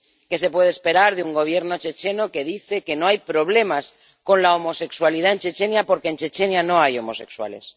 ¿Qué se puede esperar de un Gobierno checheno que dice que no hay problemas con la homosexualidad en Chechenia, porque en Chechenia no hay homosexuales?